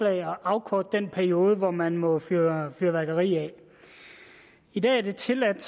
at afkorte den periode hvor man må fyre fyrværkeri af i dag er det tilladt